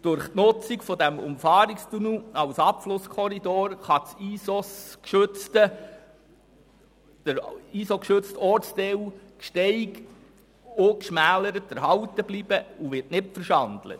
Durch die Nutzung des Umfahrungstunnels als Abflusskorridor kann der durch das Bundesinventar der schützenswerten Ortsbilder (ISOS) geschützte Ortsteil Gsteig ungeschmälert erhalten bleiben und wird nicht verschandelt.